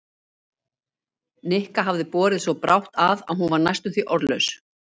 Nikka hafði borið svo brátt að að hún var næstum því orðlaus.